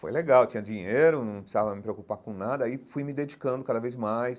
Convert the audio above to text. Foi legal, eu tinha dinheiro, não precisava me preocupar com nada, aí fui me dedicando cada vez mais.